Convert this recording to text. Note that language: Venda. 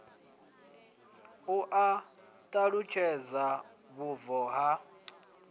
lu a ṱalutshedza vhubvo ha